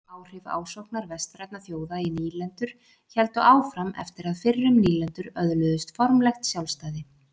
Áhrif ásóknar vestrænna þjóða í nýlendur héldu áfram eftir að fyrrum nýlendur öðluðust formlegt sjálfstæði.